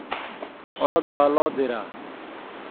Orod baa loo diraa.